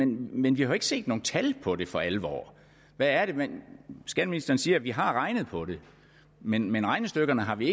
men vi har ikke set nogen tal på det for alvor skatteministeren siger at vi har regnet på det men men regnestykkerne har vi